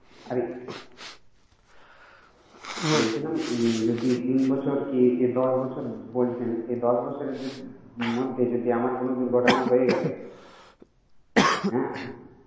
আরে বলছিলাম যদি তিন বছর কি দশ বছর বলছেন। এ দশ বছরের মধ্যে যদি আমার কোন দূর্ঘটনা হয়ে গেল হ্যা